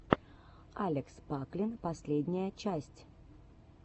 алекс паклин последняя часть